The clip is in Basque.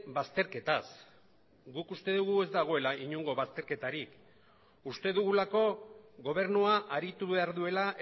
bazterketaz guk uste dugu ez dagoela inongo bazterketarik uste dugulako gobernua aritu behar duela